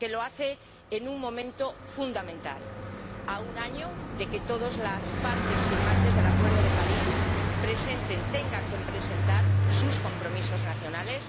Porque lo hace en un momento fundamental a un año de que todas las partes firmantes del Acuerdo de París presenten, tengan que presentar sus compromisos nacionales